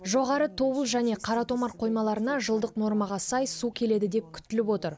жоғарғы тобыл және қаратомар қоймаларына жылдық нормаға сай су келеді деп күтіліп отыр